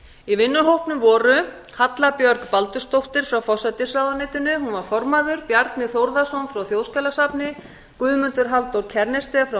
í vinnuhópnum voru halla björg baldursdóttir forsætisráðuneyti formaður bjarni þórðarson frá þjóðskjalasafni guðmundur halldór kjærnested frá